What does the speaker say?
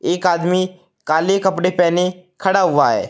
एक आदमी काले कपड़े पहने खड़ा हुआ है।